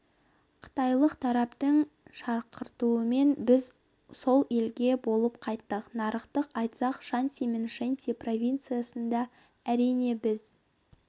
қытайлық тараптың шақыртуымен біз сол елде болып қайттық нақтырақ айтсақ шанси мен шэнси провинциясында әрине біз